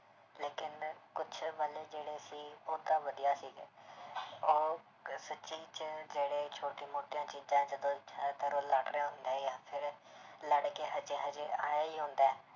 ਲੇਕਿੰਨ ਕੁਛ ਜਿਹੜੇ ਸੀ ਉਹ ਤਾਂ ਵਧੀਆ ਸੀਗੇ ਉਹ ਸੱਚੀ 'ਚ ਜਿਹੜੇ ਛੋਟੀ ਮੋਟੀਆਂ ਚੀਜ਼ਾਂ ਜਦੋਂ ਉਹ ਲੜ ਰਹੇ ਹੁੰਦੇ ਆ ਜਾਂ ਫਿਰ ਲੜਕੇ ਹਜੇ ਹਜੇ ਆਏ ਹੀ ਹੁੰਦਾ ਹੈ